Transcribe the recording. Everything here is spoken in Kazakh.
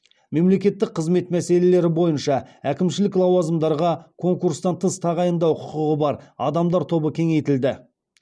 мемлекеттік қызмет мәселелері бойынша әкімшілік лауазымдарға конкурстан тыс тағайындау құқығы бар адамдар тобы кеңейтілді